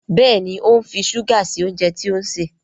Béèni o ń fí ṣuga sí oúnjẹ tí òun ṣe.